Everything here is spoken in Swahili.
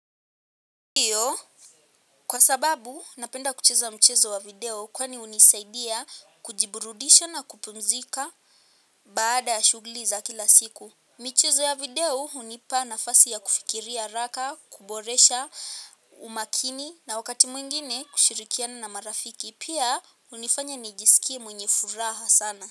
Kwa sababu, napenda kucheza mchezo wa video kwani hunisaidia kujiburudisha na kupumzika baada ya shuguli za kila siku, michezo ya video hunipa nafasi ya kufikiria haraka, kuboresha umakini na wakati mwingine kushirikiana na marafiki. Pia unifanya nijisikie mwenye furaha sana.